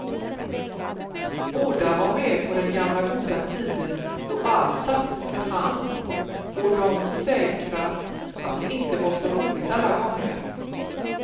Båda var med på den gamla goda tiden då allt sattes för hand och de försäkrar att det inte var så roligt alla gånger.